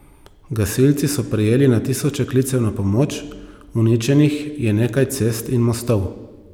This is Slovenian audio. Gasilci so prejeli na tisoče klicev na pomoč, uničenih je nekaj cest in mostov.